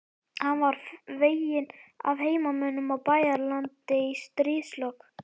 Hann var veginn af heimamönnum á Bæjaralandi í stríðslok.